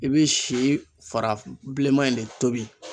I be si fara bileman in de tobi